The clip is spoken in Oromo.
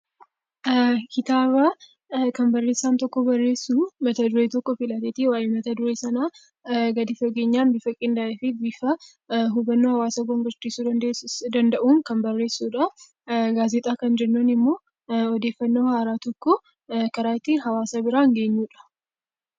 Kitaabaa kan barreessaan tokko barreessuu mata duree tokko filateetii waa'ee mata duree sanaa gadi fageenyaan bifa qindaa'ee fi bifa hubannoo hawaasa gonfachiisuu danda'uun kan barreessudhaa. Gaazexaa kan jennuun immoo odeeffannoo haaraaa tokko karaa itti hawaasa biraan geenyudha.